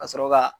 Ka sɔrɔ ka